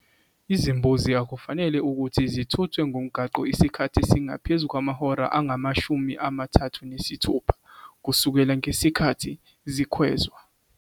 Izimbuzi akufanele ukuthi zithuthwe ngomgwaqo isikhathi esingaphezu kwamahora angamashumi amathathu nesithupha kusukela ngesikhathi sikhwezwa.